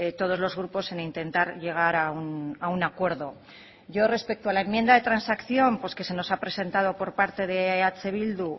todos los grupos en intentar llegar a un acuerdo yo respecto a la enmienda de transacción que se nos ha presentado por parte de eh bildu